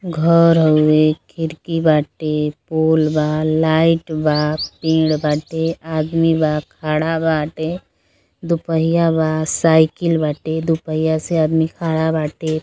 घर हउए। खिड़की बाटे। पोल बा। लाइट बा। पेड़ बाटे। आदमी बा। खड़ा बाटे। दो पहिया बा। साइकिल बाटे। दो पहिया से आदमी खड़ा बाटे।